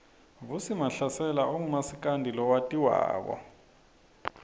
vusi mahlasela ungumasikandi lowatiwako